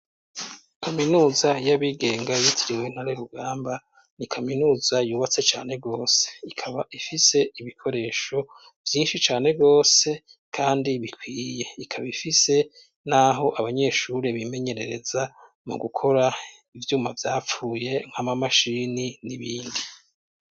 Kaminuza y'abigenga yitiriwe ntare rugamba ni kaminuza yubatse cane gose ikaba ifise ibikoresho vyinshi cane gose kandi bikwiye ikaba ifise n'aho abanyeshuri bimenyerereza mu gukora ivyuma vyapfuye nk'amamashini n'ibindi.